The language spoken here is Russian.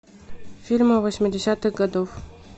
фильмы восьмидесятых годов